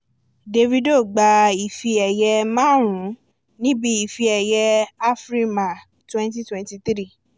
dávido gba ife ẹ̀yẹ márùn ún níbi ife ẹ̀yẹ afrima twenty twenty three